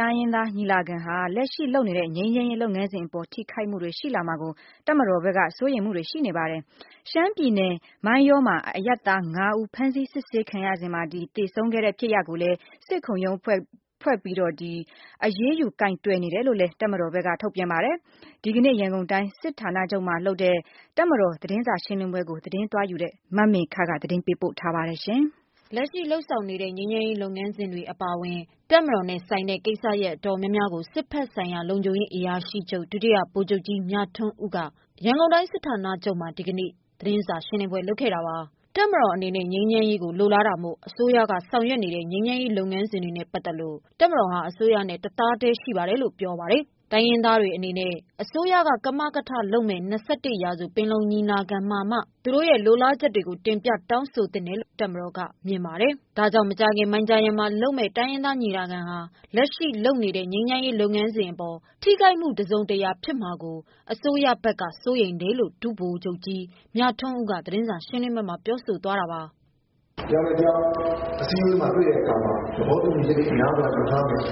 တိုင်းရင်းသားညီလာခံဟာ လက်ရှိလုပ်နေတဲ့ ငြိမ်းချမ်းရေးလုပ်ငန်းစဉ်အပေါ် ထိခိုက်မှုတွေ ရှိလာမှာကို တပ်မတော်ဖက်က စိုးရိမ်မှုတွေရှိနေပါတယ်။ ရှမ်းပြည်နယ် မိုင်းယောမှာ အရပ်သား ၅ ဦး ဖမ်းဆီး စစ်ဆေးခံရစဉ် သေဆုံးခဲ့တဲ့ဖြစ်ရပ်ကိုလည်း စစ်ခုံရုံးဖွဲ့ပြီး အရေးယူကိုင်တွယ်နေတယ်လို့လည်း တပ်မတော်ဖက်က ထုတ်ပြန်ပါတယ်။ ဒီကနေ့ ရန်ကုန်တိုင်းစစ်ဌာနချုပ်မှာလုပ်တဲ့ တပ်မတော်သတင်းစာရှင်းလင်းပွဲကို သတင်းသွားယူခဲ့တဲ့ မမေခက သတင်းပေးပို့တားထာပါ။ လက်ရှိလုပ်နေတဲ့ ငြိမ်းချမ်းရေးလုပ်ငန်းစဉ်တွေအပါအဝင် တပ်မတော်နဲ့ဆိုင်တဲ့ ကိစ္စရပ်အတော်များများကို စစ်ဖက်ဆိုင်ရာလုံခြုံရေးအရာရှိချုပ် ဒုတိယဗိုလ်ချုပ်ကြီး မြထွန်းဦးက ရန်ကုန်တိုင်းစစ်ဌာနချုပ်မှာ ဒီကနေ့ သတင်းစာရှင်းလင်းပွဲလုပ်ခဲ့တာပါ။ တပ်မတော်အနေနဲ့ ငြိမ်းချမ်းရေးလိုလားတာမို့ အစိုးရက ဆောင်ရွက်နေတဲ့ ငြိမ်းချမ်းရေးလုပ်ငန်းစဉ်တွေနဲ့ပတ်သက်လို့ တပ်မတော်ဟာ အစိုးရနဲ့ တသဘောတည်းရှိပါတယ်လို့ ပြောပါတယ်။ တိုင်းရင်းသားတွေအနေနဲ့ အစိုးရက ကမကထလုပ်မယ့် ၂၁ ရာစု ပင်လုံညီလာခံမှာ သူတို့ရဲ့ လိုလားချက်တွေကို တင်ပြတောင်းဆိုသင့်တယ်လို့ တပ်မတော်က မြင်ပါတယ်။ ဒါကြောင့် မကြာခင် မိုင်ဂျာယန်မှာလုပ်မယ့် တိုင်းရင်းသားညီလာခံဟာ လက်ရှိ လုပ်နေတဲ့ ငြိမ်းချမ်းရေးလုပ်ငန်းစဉ်အပေါ် ထိခိုက်မှု တစုံတရာဖြစ်မှာကို တပ်မတော်ဖက်က စိုးရိမ်တယ်လို့ ဒု ဗိုလ်ချုပ်ကြီး မြထွန်းဦးက သတင်းစာရှင်းလင်းပွဲမှာ ပြောသွားပါတယ်။ “တယောက်နဲ့တယောက် အစည်းအဝေးတွေမှာတွေ့တဲ့အခါမှာ သဘောတူညီချက်တွေများစွာယူထားမယ်။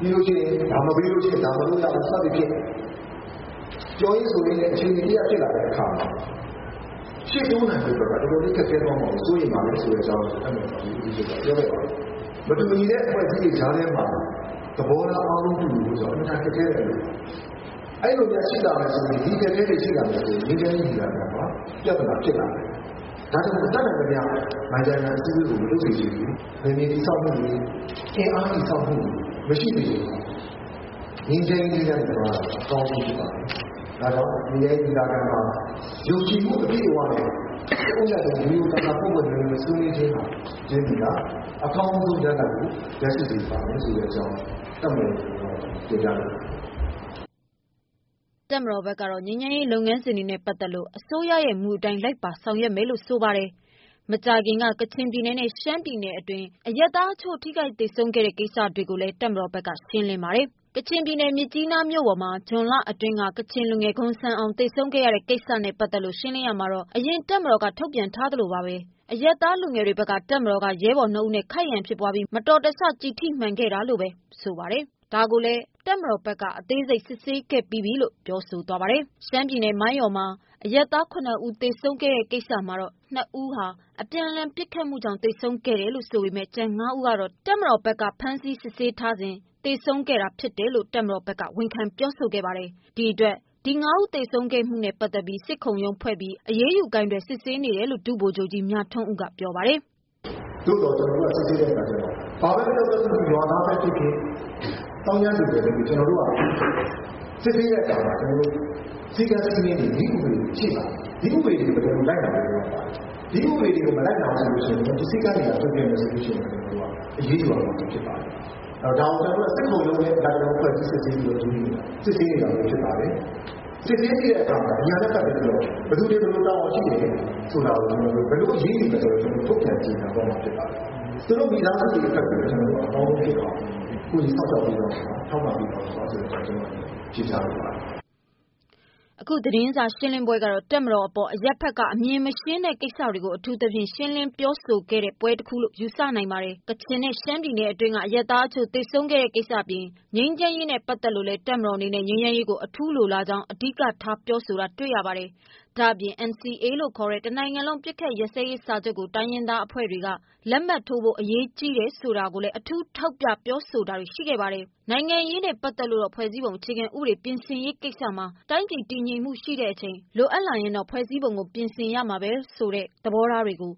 ပြီးလို့ရှိရင် ဒါမပြီးလို့ရှိရင်ရင် ဒါမလုပ်ရဘူး စသည်ဖြင့် ပြောရင်းဆိုရင်းနဲ့ အချေတင်တရပ်ဖြစ်လာတဲ့ အခါမှာ ရှေ့တိုးနိုင်ဖို့အတွက်ကို တော်တော်လေးခက်ခဲသွားမှာကို စိုးရိမ်ပါတယ်ဆိုတဲ့အကြောင်း တပ်မတော်ကာကွယ်ရေးဦးစီးချုပ်ကပြောခဲ့ပါတယ်။ မတူညီတဲ့အဖွဲ့အစည်းကြားထဲမှာ သဘောထားအားလုံးကူညီဖို့ဆိုတာ အင်မတန်ခက်ခဲတဲ့အလုပ်ပါ။ အဲဒီလိုအခက်အခဲတွေရှိလာမယ်ဆိုရင် ငြိမ်းချမ်းရေးညီလာခံမှာ ပြဿနာတွေဖြစ်လာနိုင်ပါတယ်။ ဒါကြောင့်မို့လို့ တက်နိုင်သမျှ မိုင်ဂျာယိုင်အစည်းအဝေးကို မလုပ်စေချင်ဘူး။ နယ်မြေတည်ဆောက်မှုတွေ၊ အင်အားတည်ဆောက်မှုတွေမရှိစေချင်ပါဘူး။ ငြိမ်းချမ်းရေး သီးသန့်သွားတာ အကောင်းဆုံးပါပဲ။ ဒါကြောင့် ငြိမ်းချမ်းရေးညီလာခံမှာ ယုံကြည်မှုအပြည့်အဝနဲ့ တဦးနဲ့တဦး ရိုးရိုးသားသား ပွင့်ပွင့်လင်းလင်းဆွေးနွေးခြင်းဟာ အကောင်းဆုံးရလဒ်ကို ရရှိစေပါမယ်ဆိုတဲ့အကြောင်း တပ်မတော်ရဲ့ကိုယ်စား ကျနော်တင်ပြလိုပါတယ်။” တပ်မတော်ဖက်ကတော့ ငြိမ်းချမ်းရေးလုပ်ငန်းစဉ်တွေနဲ့ပတ်သက်လို့ အစိုးရရဲ့မူအတိုင်း လိုက်ပါဆောင်ရွက်မယ်လို့ ဆိုပါတယ်။ မကြာခင်က ကချင်ပြည်နယ်နဲ့ ရှမ်းပြည်နယ်အတွင်း အရပ်သားအချို့ ထိခိုက်သေဆုံးခဲ့တဲ့ကိစ္စတွေကိုလည်း တပ်မတော်ဖက်က ရှင်းလင်းပါတယ်။ ကချင်ပြည်နယ် မြစ်ကြီးနားမြို့ပေါ်မှာ ဇွန်လအတွင်းက ကချင်လူငယ် ဂွမ်ဆန်အောင် သေဆုံးခဲ့ရတဲ့ကိစ္စနဲ့ပတ်သက်လို့ ရှင်းလင်းရာမှာတော့ အရင် တပ်မတော်က ထုတ်ပြန်သလိုပါပဲ၊ အရပ်သားလူငယ်တွေဖက်က တပ်မတော်က ရဲဘော်နှစ်ဦးနဲ့ ခိုက်ရန်ဖြစ်ပွားပြီး မတော်တဆ ကျည်ထိမှန်ခဲ့တယ်လို့ ဆိုပါတယ်။ ဒါကိုလည်း တပ်မတော်ဖက်က အသေးစိတ် စစ်ဆေးခဲ့ပြီးပြီလို့ ပြောသွားပါတယ်။ ရှမ်းပြည်နယ် မိုင်းယောမှာ အရပ်သား ၇ ဦး သေဆုံးတဲ့ကိစ္စမှာတော့ နှစ်ဦးဟာ အပြန်အလှန်ပစ်ခတ်မှုကြောင့် သေဆုံးခဲ့တယ်ဆိုပေမယ့်၊ ကျန် ငါးဦးကတော့ တပ်မတော်က ဖမ်းဆီး စစ်ဆေးထားစဉ် သေဆုံးခဲ့တယ်ဆိုတာကို တပ်မတော်ဖက်က ဝန်ခံခဲပါတယ်။ ဒီအတွက် ဒီ ငါးဦး သေဆုံးတဲ့ကိစ္စကို စစ်ခုံရုံးဖွဲ့ပြီး အရေးယူကိုင်တွယ်နေတယ်လို့ ဒု ဗိုလ်ချုပ်ကြီး မြထွန်းဦးက ပြောပါတယ်။ “သို့သော် ကျနော်တို့စစ်ဆေးတဲ့အခါကျတော့ ဘာပဲပြောပြော ရွာသားပဲဖြစ်ဖြစ်၊သောင်းကျန်းသူဖြစ်ဖြစ် ကျနော်တို့က စစ်ဆေးတဲ့အခါမှာ စည်းကမ်း၊ စည်းမျဉ်းတွေ နည်းဥပဒေတွေရှိပါတယ်။ ဒီဥပဒေတွေကို ကျနော်တို့ လိုက်နာဖို့ လိုအပ်ပါတယ်။ ဒီဥပဒေတွေကို မလိုက်နာဘူးဆိုရင် ၊ ဒီစည်းကမ်းတွေကို ပျက်ကွက်မယ်ဆိုရင် ကျနော်တို့က အရေးယူရမှာ ဖြစ်ပါတယ်။ ဒါကို ကျနော်တို့က စစ်ခုံရုံးနဲ့ လိုက်လျောဖွဲ့စည်းစစ်ဆေးနေတာပဲဖြစ်ပါတယ်။ စစ်ဆေးနေတဲ့အခါမှာ ဒီဟာတွေကို ဘယ်သူတွေဘာတွေတာဝန်ရှိတယ်၊ ဘယ်လိုအရေးယူမယ်ဆိုတာတို့ ထုတ်ပြန်ကြေညာသွားမှာဖြစ်ပါတယ်။ သူတို့မိသားစုတွေအတွက်ကို အကောင်းဆုံး ကူညီစောင့်ရှောက်ပေးသွားမှာ ထောက်ပံ့ဖြစ်ပါတယ် ဆိုတဲ့အကြောင်း ကျနော်ပြောလိုပါတယ်။” အခု သတင်းစာရှင်းလင်းပွဲကတော့ တပ်မတော်အပေါ် အရပ်ဖက်က အမြင်မရှင်းနိုင်တဲ့ကိစ္စတွေကို အထူးသဖြင့် ရှင်းလင်းပြောဆိုတဲ့ပွဲလို့ ယူဆနိုင်ပါတယ်။ ကချင်နဲ့ ရှမ်းပြည်နယ်အတွင်းက အရပ်သားအချို့ သေဆုံးခဲ့တဲ့ကိစ္စအပြင်၊ ငြိမ်းချမ်းရေးနဲ့ပတ်သက်လို့ဆိုရင်လည်း တပ်မတော်အနေနဲ့ ငြိမ်းချမ်းရေးကို အထူးလိုလားကြောင်း အဓိကထား ပြောတာတွေ့ရပါတယ်။ ဒါ့အပြင် NCA လို့ ခေါ်တဲ့ တနိုင်ငံလုံးအပစ်အခတ်ရပ်စဲရေးစာချုပ်ကို တိုင်းရင်းသားအဖွဲ့တွေက လက်မှတ်ထိုးဖို့ အရေးကြီးတယ်ဆိုတာကိုလည်း အထူး ထောက်ပြပါတယ်။ နိုင်ငံရေးနဲ့ပတ်သက်လို့တော့ ဖွဲ့စည်းပုံအခြေခံဥပဒေပြင်ဆင်ရေးကိစ္စမှာ တိုင်းပြည်တည်ငြိမ်မှုရှိတဲ့အချိန် လိုအပ်လာရင် ဖွဲ့စည်းပုံပြင်ဆင်ပြင်ရမှာပဲ ဆိုတဲ့ သဘောထားကို